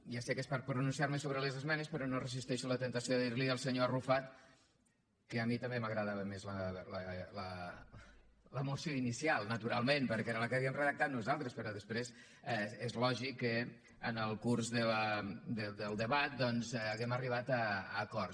ja sé que és per pronunciar me sobre les esmenes però no resisteixo la temptació de dir li al senyor arrufat que a mi també m’agradava més la moció inicial naturalment perquè era la que havíem redactat nosaltres però després és lògic que en el curs del debat doncs hàgim arribat a acords